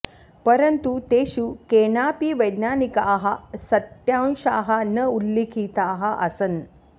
परन्तु तेषु केनापि वैज्ञानिकाः सत्यांशाः न उल्लिखिताः आसन्